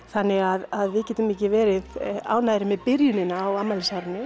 þannig að við getum ekki verið ánægðari með byrjunina á afmælisárinu